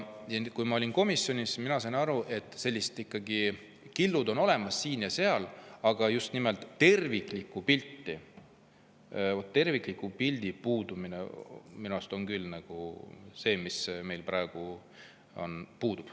Kui ma olin komisjonis, siis ma sain aru, et mingid killud on olemas siin ja seal, aga just nimelt terviklik pilt on minu arust küll see, mis meil praegu on puudu.